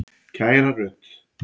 Kæra Rut.